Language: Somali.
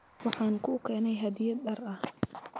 Waxaan kuu keenay hadyad dhar ah.